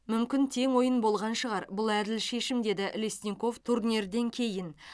мүмкін тең ойын болған шығар бұл әділ шешім деді лесников турнирден кейін